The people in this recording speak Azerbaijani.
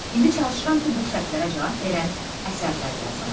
İndi çalışıram ki, bu şərtlərə cavab verən əsərlər yazım.